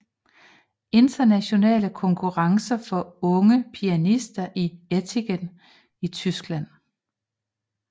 Internationale Konkurrence for Unge Pianister i Ettlingen i Tyskland